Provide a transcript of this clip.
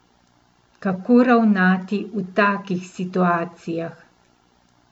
Kako ravnati v takih situacijah?